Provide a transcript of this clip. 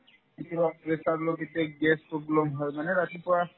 কেতিয়াবা pressure low কেতিয়াবা gas problem হয় মানে ৰাতিপুৱা